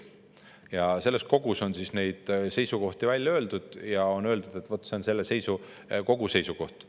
Selles kogus on neid seisukohti välja öeldud ja on öeldud, et vot see on selle kogu seisukoht.